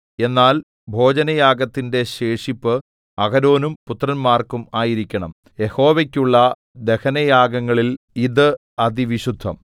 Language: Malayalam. എന്നാൽ ഭോജനയാഗത്തിന്റെ ശേഷിപ്പ് അഹരോനും പുത്രന്മാർക്കും ആയിരിക്കണം യഹോവയ്ക്കുള്ള ദഹനയാഗങ്ങളിൽ ഇത് അതിവിശുദ്ധം